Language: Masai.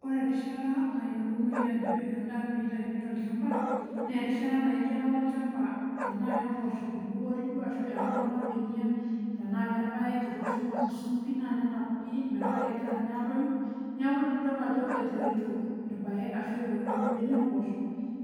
Ore erishata nayiolounoyu ajo eo endaa peyie eitayuni tol'chamba naa erishata naijo ake alo olchamba, tenaa kamboosho ibukori duo ashu etanapa imbenia, tenaa kalpayek etooshopi imasusun nenap pii metaa kegira ninye aatoyu. Neeku tenidol ajo etoyito ilpayek ashu etoyito imbenia omboosho,